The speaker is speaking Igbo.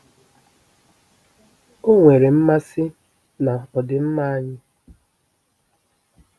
O nwere mmasị na ọdịmma anyị.